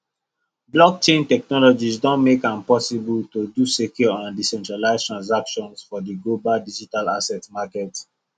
blockchain technology don make am possible to do secure and decentralized transaction for the global digital asset market